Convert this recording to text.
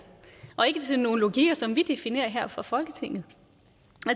og ikke til nogle logikker som vi definerer her fra folketinget